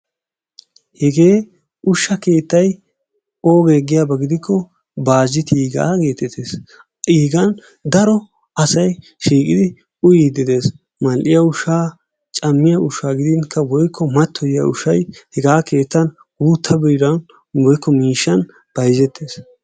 Hegee ushshaa keettay oogee giyaba gidikko Baazittiigaa geetettees, iigan daro asay shiiqidi uyiyddi de'ees mal'iya ushshaa, cammiya ushshaa gidinkka woykko mattoyiya ushshay hegaa keettan guutta biran woykk miishshaan bayzzettees.